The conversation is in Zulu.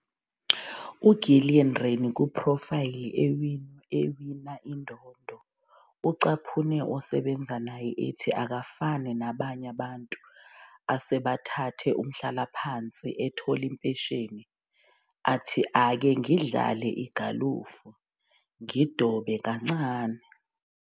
UGillian Rennie, kuphrofayli ewina indondo, ucaphune osebenza naye ethi, "Akafani nabanye abantu asebethathe umhlalaphansi, ethola impesheni athi, 'Ake ngidlale igalofu ngidobe kancane.'